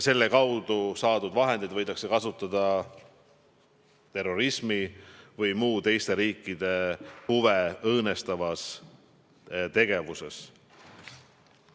Selle kaudu saadud vahendeid võidakse kasutada terrorismis või muus teiste riikide huve õõnestavas tegevuses.